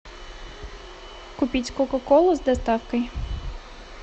купить кока колу с доставкой